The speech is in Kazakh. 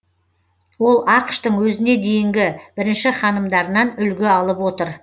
ол ақш тың өзіне дейінгі бірінші ханымдарынан үлгі алып отыр